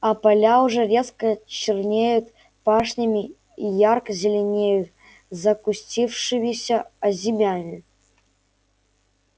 а поля уже резко чернёют пашнями и ярко зеленеют закустившимися озимями